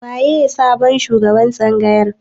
Waye sabon shugaban tsangayar?